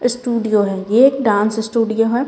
Studio है ये एक डांस स्टूडियो है।